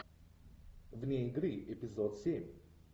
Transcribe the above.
вне игры эпизод семь